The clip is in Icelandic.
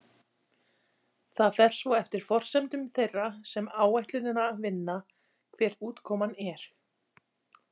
Það fer svo eftir forsendum þeirra sem áætlunina vinna hver útkoman er.